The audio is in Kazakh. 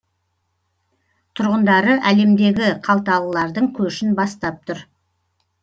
тұрғындары әлемдегі қалталылардың көшін бастап тұр